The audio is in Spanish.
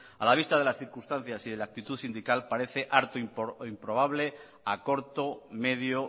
a la vista de las circunstancias y de la actitud sindical parece arto improbable a corto medio